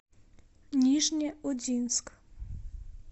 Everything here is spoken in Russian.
нижнеудинск